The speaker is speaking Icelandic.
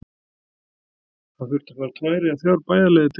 Hann þurfti að fara tvær eða þrjá bæjarleiðir til þess.